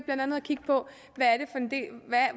kigge på